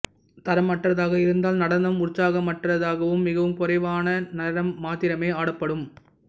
தரமற்றதாக இருந்தால் நடனம் உற்சாகமற்றதாகவும் மிகவும் குறைவான நேரம் மாத்திரமே ஆடப்படும்